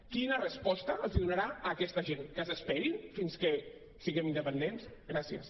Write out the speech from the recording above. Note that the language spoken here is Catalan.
quina resposta els donarà a aquesta gent que s’esperin fins que siguem independents gràcies